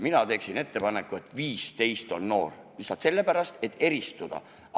Mina teen ettepaneku, et 15-aastaseks saanud inimene on noor – lihtsalt sellepärast, et eristuda.